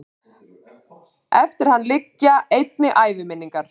eftir hann liggja einnig æviminningar